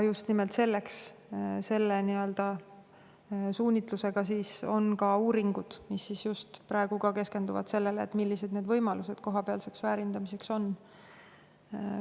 Just nimelt selle suunitlusega on ka uuringud, mis just praegu keskenduvad sellele, millised võimalused kohapealseks väärindamiseks on.